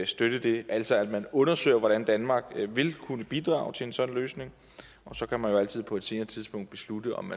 støtte det altså at man undersøger hvordan danmark vil kunne bidrage til en sådan løsning så kan man jo altid på et senere tidspunkt beslutte om